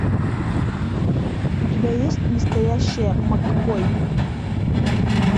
у тебя есть настоящая маккой